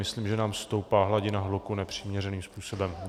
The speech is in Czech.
Myslím, že nám stoupá hladina hluku nepřiměřeným způsobem.